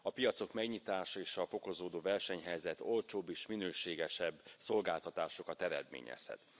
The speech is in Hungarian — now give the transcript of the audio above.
A piacok megnyitása és a fokozódó versenyhelyzet olcsóbb és minőségesebb szolgáltatásokat eredményezhet.